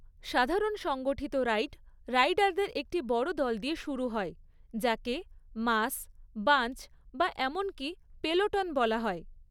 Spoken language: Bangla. সাধারণ সংগঠিত রাইড রাইডারদের একটি বড় দল দিয়ে শুরু হয়, যাকে মাস, বাঞ্চ বা এমনকি পেলোটন বলা হয়।